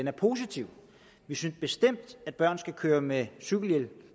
er positiv vi synes bestemt at børn skal køre med cykelhjelm